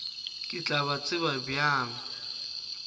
ke tla ba tseba bjang